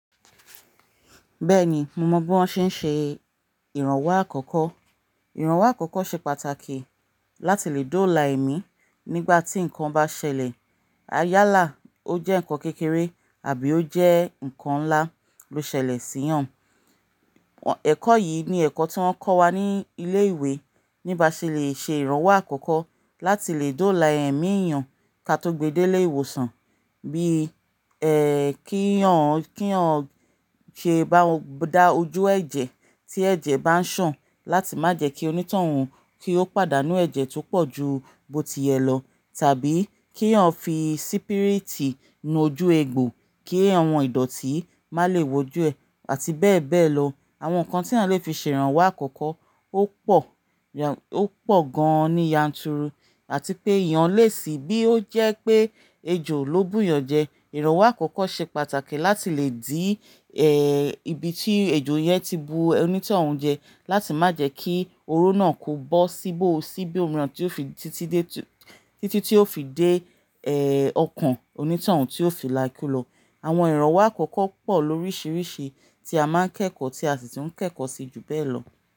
Bẹ́ẹ̀ni, mo mọ bí wọ́n ṣe ń ṣe ìrànwọ́ àkọ́kọ́. Ìrànwọ́ àkọ́kọ́ ṣe pàtàkì láti lè dóòlà èmí nígbà tí nǹkan bá ṣẹlẹ̀. Ayálà ó jẹ́ ǹkan kékeré àbí ó jẹ́ ǹkan ńlá ló ṣẹlẹ̀ sí èèyàn. Ẹ̀kọ́ yìí ni ẹ̀kọ́ tí wọ́n kọ́ wa ní ilé ìwé níbaṣe lè ṣe ìrànwọ́ àkọ́kọ́ láti lè dóòlà ẹ̀mí èèyàn ká tó gbe de lé ìwòsàn bí, ẹ́ kí èèyàn ṣe bá dá ojú ẹ̀jẹ̀ tí ẹ̀jẹ̀ bá ń sàn láti má jẹ́ kí onítọ̀hún kí ó pàdánù ẹ̀jẹ̀ tó pọ̀ ju bó tiyẹ̀ lọ tàbí kí ọ fi sípírítì nu ojú egbò kí àwọn ìdọ̀tí má lè wojú ẹ̀ àti bẹ́ẹ̀ bẹ́ẹ̀ lọ. Àwọn ǹkan tí à lé fi ṣe ìrànwọ́ àkọ́kọ́ ó pọ̀ ó pọ̀ gan-an ní yanturu àti pé ìyàn lé síi bí ó jẹ́ pé ejò ló bùyàn jẹ. Ìrànwọ́ àkọ́kọ́ ṣe pàtàkì láti lè dí ì ibi tí ejò yẹn ti bu onítọ̀hún jẹ láti má jẹ́ kí oró náà kó bó síbò síbí òmíràn tí ó fi títí dé títí tí ó fi dé ẹ́ ọkàn onítọ̀hún tí ó fi láikú lọ. Àwọn ìrànwọ́ àkọ́kọ́ pọ̀ lóríṣiríṣi tí a máa ń kẹ́kọ̀ọ́ tí a sì ti ń kẹ́kọ̀ọ́ sí jù bẹ́ẹ̀ lọ.